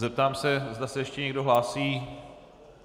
Zeptám se, zda se ještě někdo hlásí.